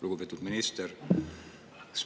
Lugupeetud minister!